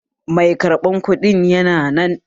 Mai karɓan kuɗin yana nan?